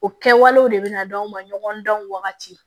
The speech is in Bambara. O kɛwalew de bɛ na d'anw ma ɲɔgɔn dan wagati